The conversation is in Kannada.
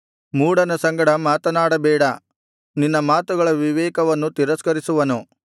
ಮೂಢನ ಸಂಗಡ ಮಾತನಾಡಬೇಡ ನಿನ್ನ ಮಾತುಗಳ ವಿವೇಕವನ್ನು ತಿರಸ್ಕರಿಸುವನು